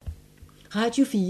Radio 4